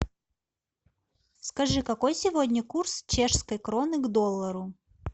скажи какой сегодня курс чешской кроны к доллару